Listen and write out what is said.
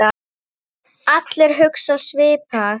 Allir hugsa svipað.